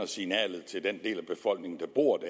signalet til den del af befolkningen der bor